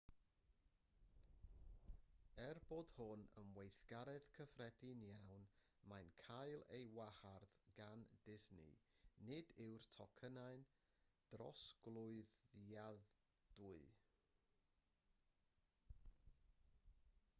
er bod hwn yn weithgaredd cyffredin iawn mae'n cael ei wahardd gan disney nid yw'r tocynnau'n drosglwyddadwy